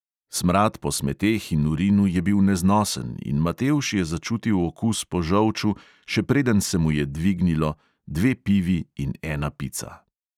Smrad po smeteh in urinu je bil neznosen in matevž je začutil okus po žolču, še preden se mu je dvignilo, dve pivi in ena pica.